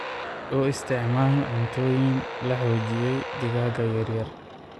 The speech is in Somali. U isticmaal cuntooyin la xoojiyay digaaga yaryar.